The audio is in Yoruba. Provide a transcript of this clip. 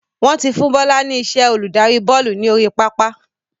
Wọn tí fún Bọlá ni iṣẹ́ olùdarí bọ́ọ́lù ni orí pápá